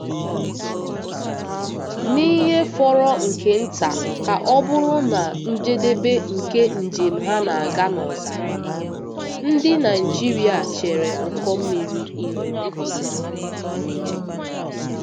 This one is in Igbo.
N’ihe fọrọ nke nta ka ọ bụrụ na njedebe nke njem ha na-aga n’ọzara, ndị Naijiria chere ụkọ mmiri ihu.